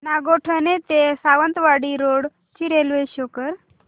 नागोठणे ते सावंतवाडी रोड ची railway show कर